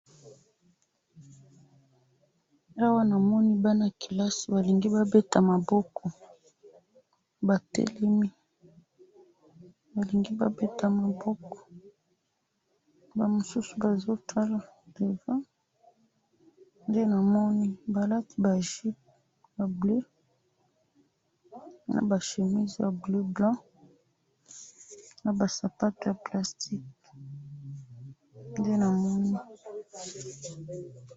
Awa na moni bana ya kelasi batelemi, bazo beta maboko na ba mususu bazo tala, nde na moni awa.